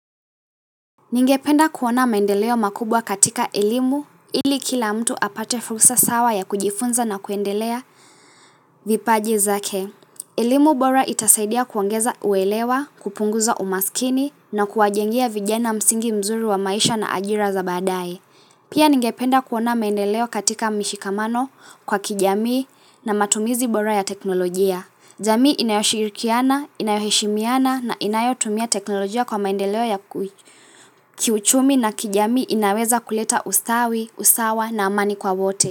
Ningependa kuona maendeleo makubwa katika elimu ili kila mtu apate fursa sawa ya kujifunza na kuendelea vipaji zake. Elimu bora itasaidia kuongeza uelewa, kupunguza umasikini na kuwajengea vijana msingi mzuri wa maisha na ajira za badae. Pia ningependa kuona maendeleo katika mishikamano kwa kijamii na matumizi bora ya teknolojia. Jamii inayoshirikiana, inayoheshimiana na inayotumia teknolojia kwa maendeleo ya kui. Kiuchumi na kijamii inaweza kuleta usawi, usawa na amani kwa wote.